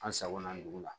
An sagona dugu la